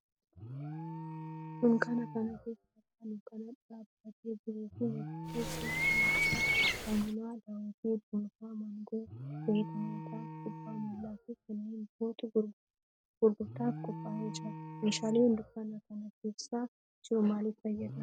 Dunkaana kana keessa abbaa dunkaanaa dhaabbaatee jiruu fi meeshaalee biroo kanneen akka saamunaa, daawwitii, cuunfaa maangoo, zayita nyaataa, kubbaa miilaa fi kanneen birootu gurgurtaaf qoophaa'ee jira. Meeshaalee dunkaana kana keessa jiru maalif fayyada?